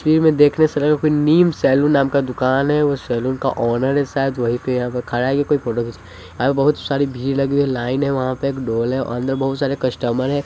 देखने से लग रहा है कोई नीम सैलून नाम का दुकान है वो सैलून का ओनर है शायद वही पे यहां खड़ा है ये कोई फोटो खिंचवाने बहुत सारी भीड़ लगी हुई लाइन लगी हुई है वहां पे एक ढोल है और अंदर बहुत सारे कस्टमर हैं।